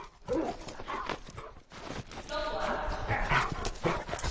logwaja